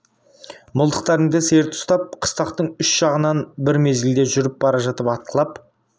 мылтықтарыңды серт ұстап қыстақтың үш жағынан бір мезгілде жүріп бара жатып атқылап